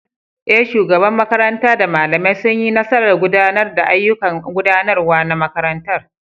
Eh, shugabar makaranta da malamai sun yi nasarar gudanar da ayyukan gudanarwa na makarantar.